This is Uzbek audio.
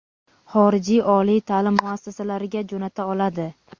xorijiy oliy taʼlim muassasalariga jo‘nata oladi.